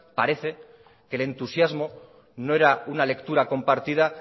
parece que el entusiasmo no era una lectura compartida